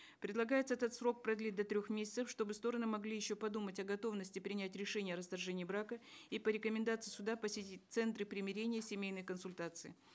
предлагается этот срок продлить до трех месяцев чтобы стороны могли еще подумать о готовности принять решение о расторжении брака и по рекомендации суда посетить центры примирения семейные консультации